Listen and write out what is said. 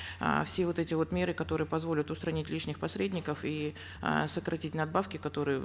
э все вот эти вот меры которые позволят устранить лишних посредников и э сократить надбавки которые